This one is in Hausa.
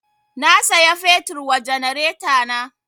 Na saya fetur wa janaretana